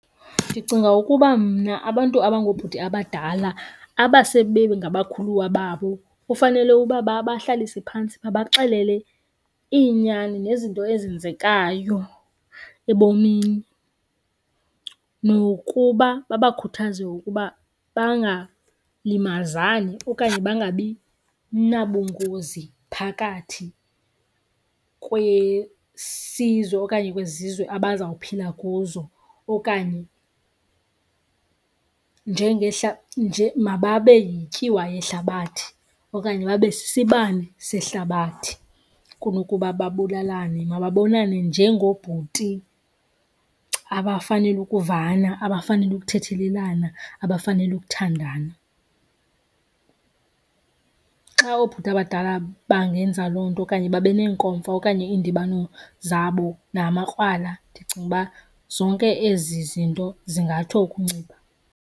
Ndicinga ukuba mna abantu abangoobhuti abadala aba sebe ngabakhuluwa babo kufanele uba babahlalise phantsi babaxelele iinyani nezinto ezenzekayo ebomini nokuba babakhuthaze ukuba bangalimazani okanye bangabi nabungozi phakathi kwesizwe okanye kwezizwe abazawuphila kuzo. Okanye mababe yityiwa yehlabathi, okanye babe sisibane sehlabathi kunokuba babulalane. Mabanonane njengoobhuti abafanele ukuvana, abafanele ukuthethelelana, abafanele ukuthandana. Xa oobhuti abadala bangenza loo nto okanye babe neenkomfa okanye iindibano zabo namakrwala ndicinga uba zonke ezi zinto zingatsho ukuncipha.